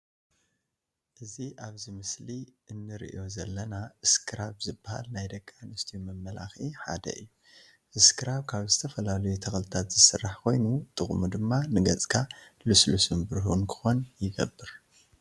እዚ ኣብዚ ምስሊ እንርእዮ ዘለና እስከራብ ዝባሃል ናይ ደቂ ኣንስትዮ መመላከዒ ሓደ እዩ። አስክራብ ካብ ዝተፈላለዩ ተክልታት ዝስራሕ ኮይኑ ጥቅሙ ድማ ንገፅካ ልስሉስን ብሩህን ክኮን ይገብር።